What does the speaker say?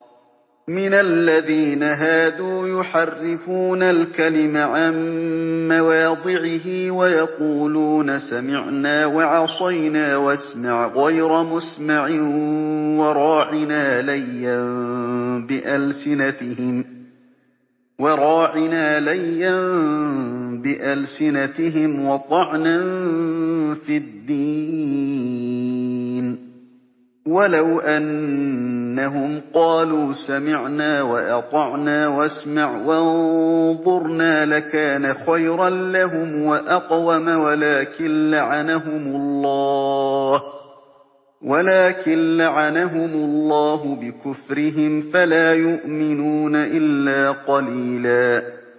مِّنَ الَّذِينَ هَادُوا يُحَرِّفُونَ الْكَلِمَ عَن مَّوَاضِعِهِ وَيَقُولُونَ سَمِعْنَا وَعَصَيْنَا وَاسْمَعْ غَيْرَ مُسْمَعٍ وَرَاعِنَا لَيًّا بِأَلْسِنَتِهِمْ وَطَعْنًا فِي الدِّينِ ۚ وَلَوْ أَنَّهُمْ قَالُوا سَمِعْنَا وَأَطَعْنَا وَاسْمَعْ وَانظُرْنَا لَكَانَ خَيْرًا لَّهُمْ وَأَقْوَمَ وَلَٰكِن لَّعَنَهُمُ اللَّهُ بِكُفْرِهِمْ فَلَا يُؤْمِنُونَ إِلَّا قَلِيلًا